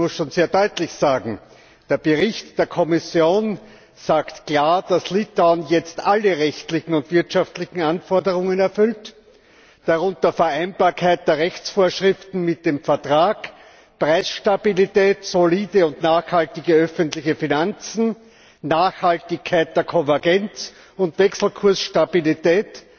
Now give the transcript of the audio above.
Ich muss schon sehr deutlich sagen Der Bericht der Kommission sagt klar, dass Litauen jetzt alle rechtlichen und wirtschaftlichen Anforderungen erfüllt, darunter Vereinbarkeit der Rechtsvorschriften mit dem Vertrag, Preisstabilität, solide und nachhaltige öffentliche Finanzen, Nachhaltigkeit der Konvergenz und Wechselkursstabilität.